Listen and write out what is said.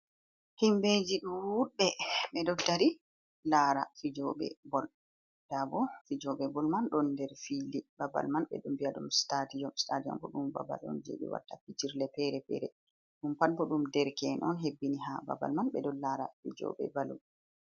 Himɓeji ɗo wudɓe ɓe ɗo dari lara fijoɓe bol nda bo fijoɓe bol man ɗo nder fili babal man ɓe ɗo viya ɗum Stadiyom. Stadiyom bo ɗum babal on je ɓe waɗata fijirde fere fere ɗum pat bo ɗum dereke’en on hebbini ha babal man ɓe ɗon lara fijoɓe bol.